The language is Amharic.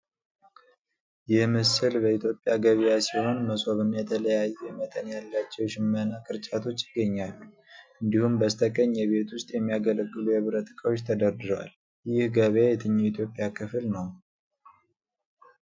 ይህ ምስል የኢትዮጵያ ገበያ ሲሆን መሶብ እና የተለያየ መጠን ያላቸው የሽመና ቅርጫቶች ይገኛሉ። እንዲሁም፣ በስተቀኝ የቤት ውስጥ የሚያገለግሉ የብረት እቃዎች ተደርድረዋል። ይህ ገበያ የትኛው የኢትዮጵያ ክፍል ነው?